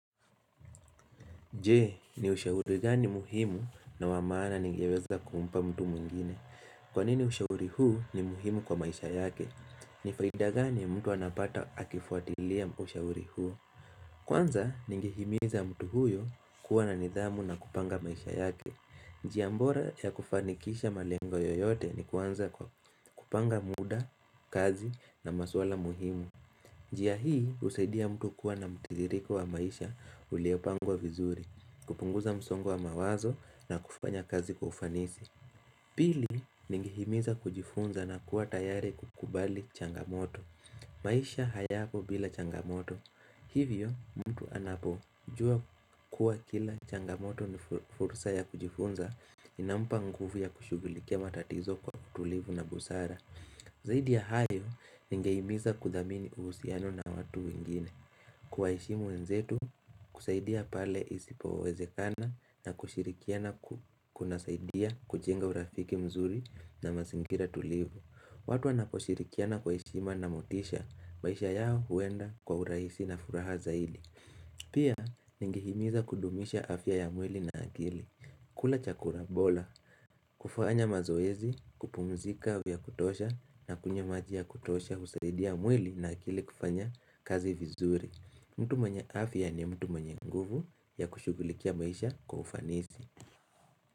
Je, ni ushauri gani muhimu na wa maana ningeweza kumpa mtu mwingine? Kwa nini ushauri huu ni muhimu kwa maisha yake? Ni faida gani mtu anapata akifuatilia ushauri huu? Kwanza, ningehimiza mtu huyo kuwa na nidhamu na kupanga maisha yake. Njia bora ya kufanikisha malengo yeyote ni kuanza kwa kupanga muda, kazi, na maswala muhimu. Njia hii husaidia mtu kuwa na mtiririko wa maisha uliopangwa vizuri. Kupunguza msongo wa mawazo na kufanya kazi kwa ufanisi Pili, ningehimiza kujifunza na kuwa tayari kukubali changamoto maisha hayapo bila changamoto Hivyo, mtu anapojua kuwa kila changamoto ni fursa ya kujifunza inampa nguvu ya kushughulikia matatizo kwa utulivu na busara Zaidi ya hayo, ningehimiza kudhamini uhusiano na watu wengine kuwaheshimu wenzetu, kusaidia pale isipowezekana, na kushirikiana kunasaidia kujenga urafiki mzuri na mazingira tulivu. Watu wanaposhirikiana kwa heshima na motisha, maisha yao huenda kwa urahisi na furaha zaidi Pia, ningehimiza kudumisha afya ya mwili na akili kula chakura bora, kufanya mazoezi, kupumzika ya kutosha, na kunywa maji ya kutosha husaidia mwili na akili kufanya kazi vizuri mtu mwenye afya ni mtu mwenye nguvu ya kushugulikia maisha kwa ufanisi.